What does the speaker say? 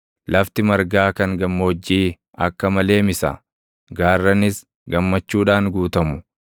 Lafti margaa kan gammoojjii akka malee misa; gaarranis gammachuudhaan guutamu.